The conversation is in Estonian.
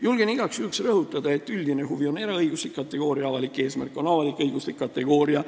Julgen igaks juhuks rõhutada, et üldine huvi on eraõiguslik kategooria, avalik eesmärk on avalik-õiguslik kategooria.